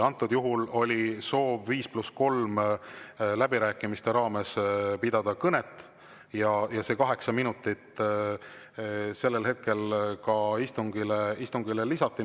Antud juhul oli soov 5 + 3 läbirääkimiste raames pidada kõnet ja see 8 minutit sellel hetkel ka istungile lisati.